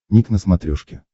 ник на смотрешке